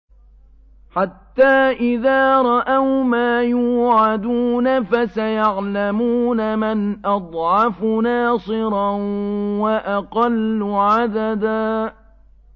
حَتَّىٰ إِذَا رَأَوْا مَا يُوعَدُونَ فَسَيَعْلَمُونَ مَنْ أَضْعَفُ نَاصِرًا وَأَقَلُّ عَدَدًا